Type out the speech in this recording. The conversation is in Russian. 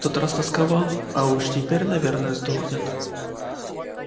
в тот раз тосковал а уж теперь наверное сдохнет